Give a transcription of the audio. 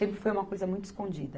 Sempre foi uma coisa muito escondida.